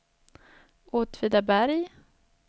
Åtvidaberg